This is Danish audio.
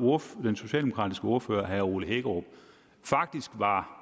og den socialdemokratiske ordfører herre ole hækkerup faktisk var